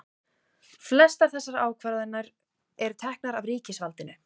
flestar þessara ákvarðana eru teknar af ríkisvaldinu